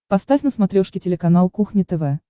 поставь на смотрешке телеканал кухня тв